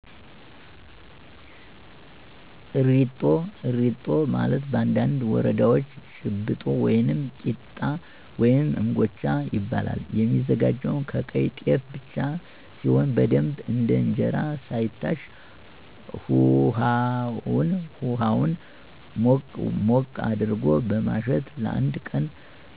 እሪጦ፦ እሪጦ ማለት በአንዳንድ ወረዳወች ጭብጦ ወይም ቂጣ ወይም እንጎቻ ይባላል። የሚዘጋጀውም ከቀይ ጤፍ ብቻ ሲሆን በደንብ እንደ እንጀራ ሳይታሽ ሁሀውን ሞቅ ሞቅ አድርጎ በማሸት ለአንድ ቀን